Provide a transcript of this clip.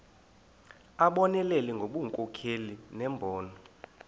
abonelele ngobunkokheli nembono